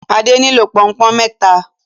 Ade nilo Pọnpọ́n méta